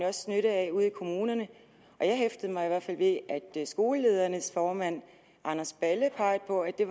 også nytte af ude i kommunerne jeg hæftede mig i hvert fald ved at skoleledernes formand anders balle har peget på at det